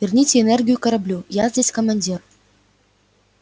верните энергию кораблю я здесь командир